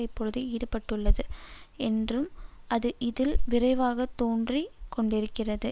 இப்பொழுது ஈடுபட்டுள்ளது என்றும் அது இதில் விரைவாக தோற்றுக் கொண்டிருக்கிறது